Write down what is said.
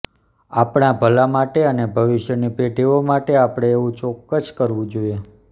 આપણા ભલા માટે અને ભવિષ્યની પેઢીઓ માટે આપણે એવું ચોક્કસ કરવું જોઈએ